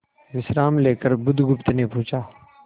विश्राम लेकर बुधगुप्त ने पूछा